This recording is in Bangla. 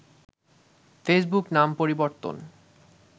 ফেসবুকে নাম পরিবর্তন